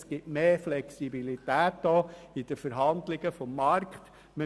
Das ist ein Unterschied und damit ist in Verhandlungen auf dem Markt mehr Flexibilität gegeben.